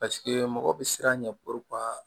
Paseke mɔgɔ bɛ siran ɲɛ